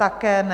Také ne.